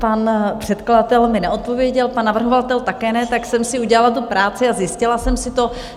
Pan předkladatel mi neodpověděl, pan navrhovatel také ne, tak jsem si udělala tu práci a zjistila jsem si to.